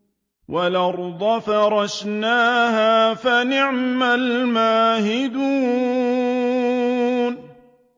وَالْأَرْضَ فَرَشْنَاهَا فَنِعْمَ الْمَاهِدُونَ